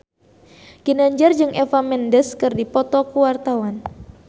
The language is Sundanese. Ginanjar jeung Eva Mendes keur dipoto ku wartawan